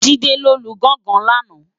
Jide ló lú gòngòn làná